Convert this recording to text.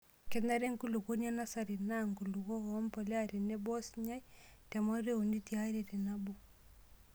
Kenare enkulukuoni e nasari naa nkulukuok, embolea tenebo osinyai tematua e uni tiare te nabo.